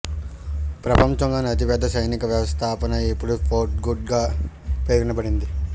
ప్రపంచంలోని అతిపెద్ద సైనిక వ్యవస్థాపన ఇప్పుడు ఫోర్ట్ హుడ్గా పేర్కొనబడింది